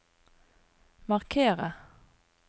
markere